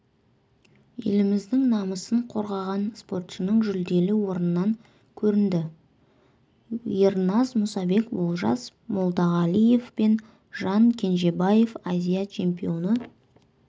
еліміздің намысын қорғаған спортшының жүлделі орыннан көрінді ерназ мұсабек олжас молдағалиев пен жан кенжебаев азия чемпионы